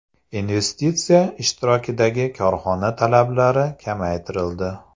Investitsiya ishtirokidagi korxona talablari kamaytirildi.